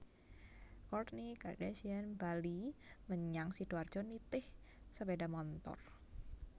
Kourtney Kardashian bali menyang Sidoarjo nitih sepeda montor